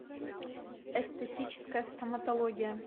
эстетическая стоматология